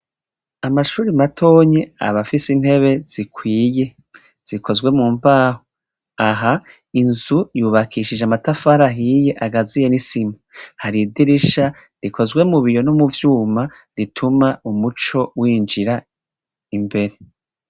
Amashuri matonyi aba afise intebe zikwiye, zikozwe mu mbaho. Aha inzu yubakishije amatafari ahiye agaziye n'isima. Hari idirisha rikozwe mu biyo no mu vyuma rituma umuco winjira imbere.